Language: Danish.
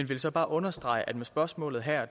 vil så bare understrege at med spørgsmålet her